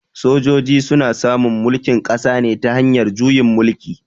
Sojoji su na samun mulkin ƙasa ne ta hanyar juyin mulki.